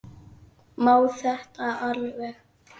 Má þetta alveg?